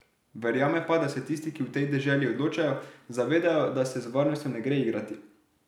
Verjame pa, da se tisti, ki v tej deželi odločajo, zavedajo, da se z varnostjo ne gre igrati.